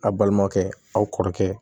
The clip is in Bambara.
A balimaw kɛ aw kɔrɔkɛ